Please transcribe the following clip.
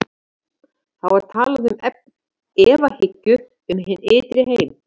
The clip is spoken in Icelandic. Þá er talað um efahyggju um hinn ytri heim.